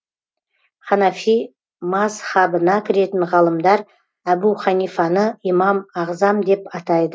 ханафи мазһабына кіретін ғалымдар әбу ханифаны имам ағзам деп атайды